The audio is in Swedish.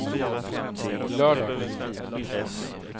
lördag